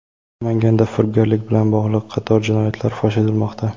Namanganda firibgarlik bilan bog‘liq qator jinoyatlar fosh etilmoqda.